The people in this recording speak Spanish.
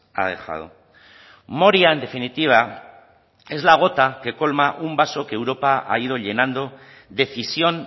ha dejado moria en definitiva es la gota que colma un vaso que europa ha ido llenando decisión